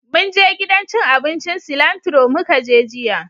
Munje gidan cin abincin Cilantro mu ka je jiya